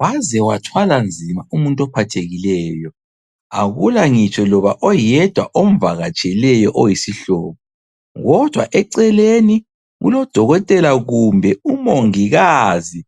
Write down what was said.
Waze wathwalanzima umuntu ophathekileyo. Akulangitsho loba oyedwa omvakatsheleyo oyisihlobo. Kodwa eceleni, kulodokotela kumbe umongikazi